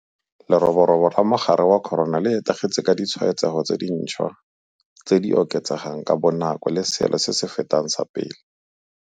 Leroborobo la mogare wa corona le etegetse, ka ditshwaetsego tse dintšhwa tse di oketsegang ka bonako le seelo se se fetang sa pele.